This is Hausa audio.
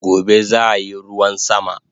Gobe zaayi ruwan sama